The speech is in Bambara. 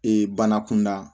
Ee bana kunda